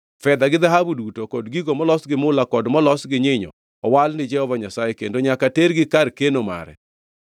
Fedha gi dhahabu duto, kod gigo molos gi mula kod molos gi nyinyo owal ni Jehova Nyasaye kendo nyaka tergi kar keno mare.”